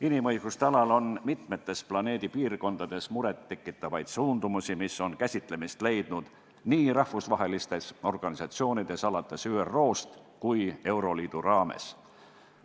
Inimõiguste alal on mitmes planeedi piirkonnas muret tekitavaid suundumusi, mis on käsitlemist leidnud nii rahvusvahelistes organisatsioonides alates ÜRO-st kui ka euroliidu raames.